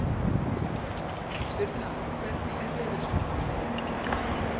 Sturla, hvernig er veðurspáin?